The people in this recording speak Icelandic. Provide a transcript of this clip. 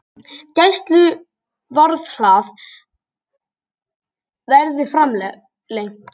Gæsluvarðhald verði framlengt